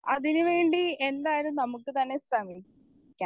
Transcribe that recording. Speaker 1 അതിനുവേണ്ടി എന്തായാലും നമുക്ക് തന്നെ ശ്രമിക്കാം.